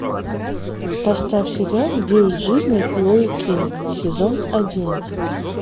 поставь сериал девять жизней хлои кинг сезон одиннадцать